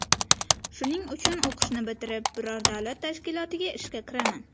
Shuning uchun o‘qishni bitirib, biror davlat tashkilotiga ishga kiraman.